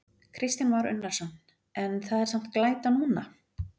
Kristján Már Unnarsson: En það er samt glæta núna?